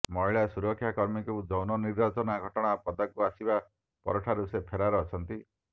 ମହିଳା ସୁରକ୍ଷାକର୍ମୀଙ୍କୁ ଯୌନ ନିର୍ଯାତନା ଘଟଣା ପଦାକୁ ଆସିବା ପରଠାରୁ ସେ ଫେରାର ଅଛନ୍ତି